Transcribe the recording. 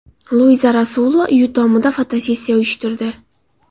Luiza Rasulova uyi tomida fotosessiya uyushtirdi.